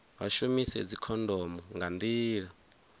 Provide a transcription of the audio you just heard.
vha shumise dzikhondomo nga nḓila